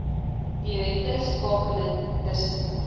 direkte skakeling tussen